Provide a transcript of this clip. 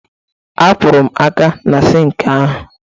Akwọrọ m aka m na sịịnkị ahụ